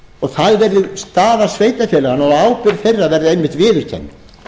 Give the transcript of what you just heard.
og það verði staða sveitarfélaganna og ábyrgð þeirra verði einmitt viðurkennd